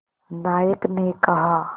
नायक ने कहा